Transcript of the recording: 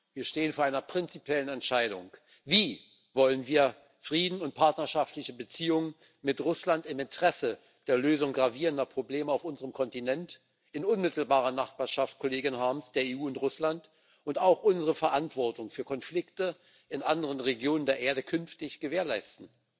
Wir stehen vor einer prinzipiellen Entscheidung Wie wollen wir Frieden und partnerschaftliche Beziehungen mit Russland im Interesse der Lösung gravierender Probleme auf unserem Kontinent in unmittelbarer Nachbarschaft, Kollegin Harms, der EU und Russland und auch unsere Verantwortung für Konflikte in anderen Regionen der Erde künftig gewährleisten?